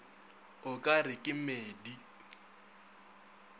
o ka re ke medi